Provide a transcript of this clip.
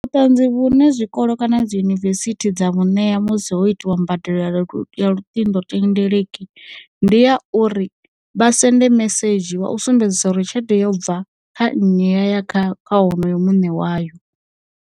Vhuṱanzi vhune zwikolo kana dziyunivesithi dza vhu neya musi ho itiwa mbadelo ya lu ya luṱingothendeleki ndi ya uri, vha sende mesedzhi wa u sumbedzisa uri tshelede yo bva kha nnyi ya kha kha wonoyo muṋe wayo.